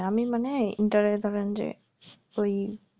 আমি মানে inter exam এ যে ওই